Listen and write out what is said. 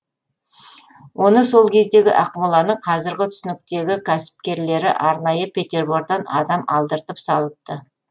оны сол кездегі ақмоланың қазіргі түсініктегі кәсіпкерлері арнайы петербордан адам алдыртып салыпты